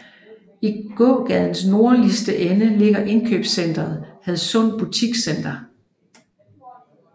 I gågadens nordligste ende ligger indkøbscenteret Hadsund Butikscenter